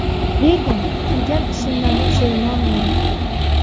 Lekin, qilgan ishimdan pushaymonman.